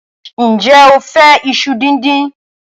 Ǹjẹ́ o fẹ́ iṣu díndín?